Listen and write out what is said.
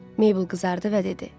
Mabel qızardı və dedi.